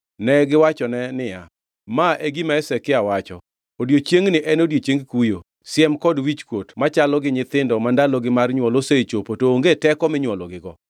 Negiwachone niya, “Ma e gima Hezekia wacho: Odiechiengni en odiechieng kuyo, siem kod wichkuot machalo gi nyithindo ma ndalogi mar nywol osechopo to onge teko minywologigo.